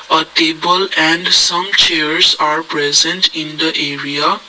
a taable and some chairs are present in the area.